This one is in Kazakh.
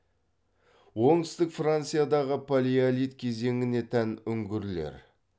оңтүстік франциядағы палеолит кезеңіне тән үңгірлер